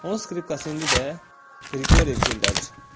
Onun skripkası indi də Qriqoryev gilədir.